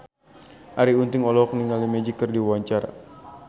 Arie Untung olohok ningali Magic keur diwawancara